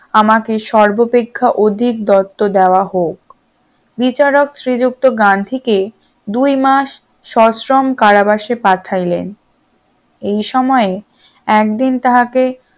আমাকে সর্বাপেক্ষা অধিক দত্ত দেওয়া হোক বিচারক শ্রীযুক্ত গান্ধীকে দুই মাস সশ্রম কারাবাসে পাঠাইলেন এই সময়ে একদিন তাহাকে